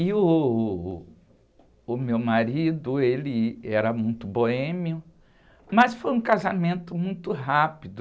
E uh, o meu marido, ele era muito boêmio, mas foi um casamento muito rápido.